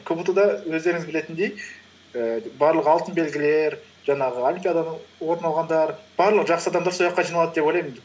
кбту да өздеріңіз білетіндей ііі барлық алтын белгілер жаңағы олимпиададан орын алғандар барлық жақсы адамдар сол жаққа жиналады деп ойлаймын